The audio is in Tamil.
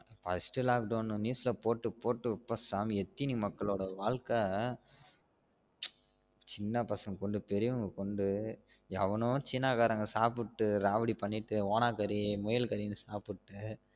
First lock down news ல போட்டு போட்டு எப்பா சாமி எத்தீன மக்களோட வாழ்கை சின்ன பசங்கல கொண்டு பெரியவங்கல கொண்டு எவனோ சீனா காரன் சாப்டு ராவடி பண்ணிட்டு ஓனான் கரி முயல் கரின்னு சாப்டு